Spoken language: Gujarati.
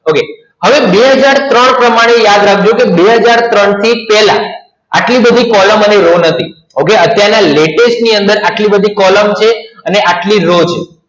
આવો બે હજાર ત્રણ પ્રમાણે યાદ રાખજો કે બે હજાર ત્રણ થી પહેલા આટલી બધી કોલમ આટલી બધી આટલી બધી કોલમ છે અને આટલી બધી રો છે કોલમ અને રો હતી okay અત્યારના latest